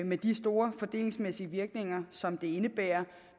med de store fordelingsmæssige virkninger som det indebærer